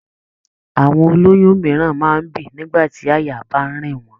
Àwọn ó lóyún mìíràn máa ń bì nígbà tí àyà bá ń rìn wọ́n.